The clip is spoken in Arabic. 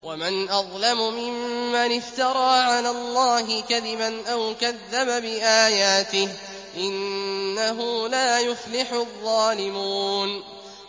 وَمَنْ أَظْلَمُ مِمَّنِ افْتَرَىٰ عَلَى اللَّهِ كَذِبًا أَوْ كَذَّبَ بِآيَاتِهِ ۗ إِنَّهُ لَا يُفْلِحُ الظَّالِمُونَ